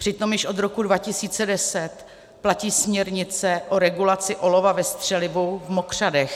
Přitom již od roku 2010 platí směrnice o regulaci olova ve střelivu v mokřadech.